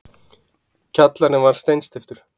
Kjallarinn var steinsteyptur.